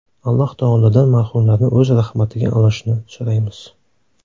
Alloh taolodan marhumlarni o‘z rahmatiga olishini so‘raymiz.